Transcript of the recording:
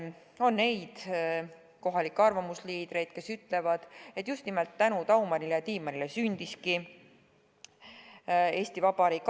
On neid kohalikke arvamusliidreid, kes ütlevad, et just nimelt tänu Daumanile ja Tiimannile sündiski Eesti Vabariik.